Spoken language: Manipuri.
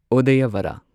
ꯎꯗꯌꯕꯔꯥ